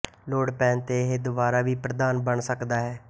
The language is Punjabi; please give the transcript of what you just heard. ਲੋੜ ਪੈਣ ਤੇ ਇਹ ਦੁਬਾਰਾ ਵੀ ਪ੍ਰਧਾਨ ਬਣ ਸਕਦਾ ਹੈ